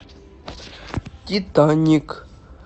титаник